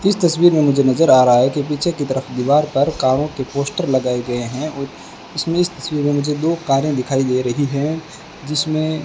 इस तस्वीर में मुझे नजर आ रहा है कि पीछे की तरफ दीवार पर कारों के पोस्टर लगाए गए हैं और इसमें इस तस्वीर में मुझे दो कारें दिखाई दे रही हैं जिसमें --